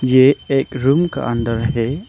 ये एक रूम का अंदर है।